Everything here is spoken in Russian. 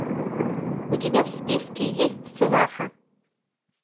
у тебя в списке есть сваха